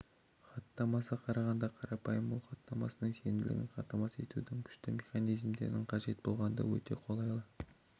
хаттамасы қарағанда қарапайым ол хаттамасының сенімділігін қамтамасыз етудің күшті механизмдері қажет болғанда өте қолайлы